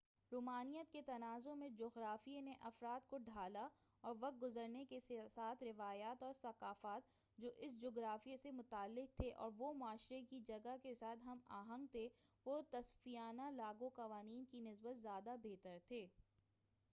رومانویت کے تناظر میں جُغرافیے نے افراد کو ڈھالا اور وقت گُزرنے کے ساتھ روایات اور ثقافت جو اُس جُغرافیے سے متعلق تھے اور وہ معاشرے کی جگہ کے ساتھ ہم آہنگ تھے وہ تصفیانہ لاگُو قوانین کی نسبت زیادہ بہتر تھے